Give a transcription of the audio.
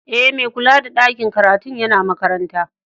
E, mai kulla da ɗakin karatun yana makaranta.